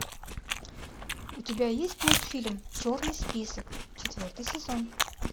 у тебя есть мультфильм черный список четвертый сезон